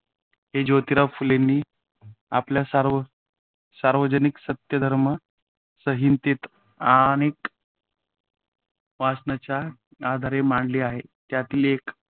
हे ज्योतीराव फुलेंनी आपल्य सार्व सार्वजनिक सत्यधर्म संहितेत अनेक वचनांच्या आधारे मांडली आहे. त्यातील काही